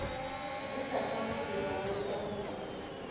zizakhamuzi zabantu abanzima